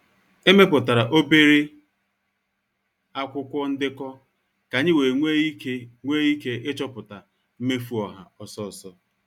Emeputara obere akwụkwọ ndekọ ka anyị wee nwee ike nwee ike ịchọpụta mmefu ọha ọsọ ọsọ.